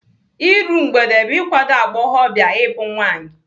Iru mgbede bụ ikwado agbọghọbịa ịbụ nwaanyị.